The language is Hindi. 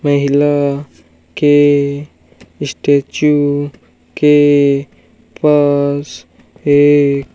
महिला के स्टैचू के पास एक --